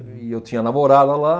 E eu tinha namorada lá.